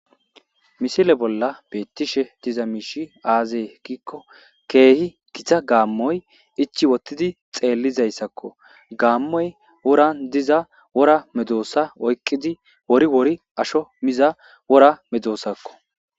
Misile bolla beettishe diza miishshi aazee giikko keehi gitta gaammoy ichchi uottidi xeellizayssakko gaammoy woran diza wora medoossa oykqidi wori wori ashsho miiza wora medoosakko